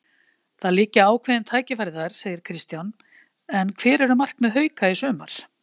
Það liggja ákveðin tækifæri þar, segir Kristján en hver eru markmið Hauka í sumar?